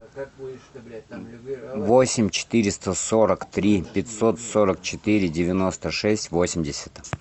восемь четыреста сорок три пятьсот сорок четыре девяносто шесть восемьдесят